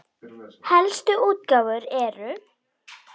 Helstu útgáfur eru